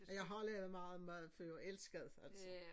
Og jeg har lavet meget mad før elskede det altså